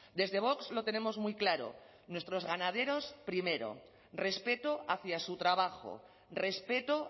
desde vox lo tenemos muy claro nuestros ganaderos primero respeto hacia su trabajo respeto